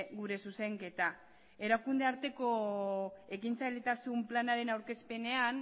gure zuzenketa erakunde arteko ekintzailetasun planaren aurkezpenean